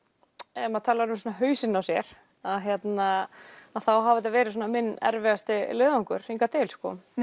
ef maður talar um hausinn á sér þá hafi þetta verið minn erfiðasti leiðangur hingað til